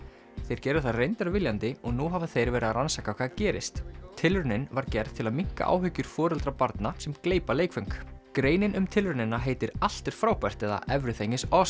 þeir gerðu það reyndar viljandi og nú hafa þeir verið að rannsaka hvað gerðist tilraunin var gerð til að minnka áhyggjur foreldra barna sem gleypa leikföng greinin um tilraunina heitir allt er frábært eða everything is